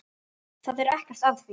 Það er ekkert að því.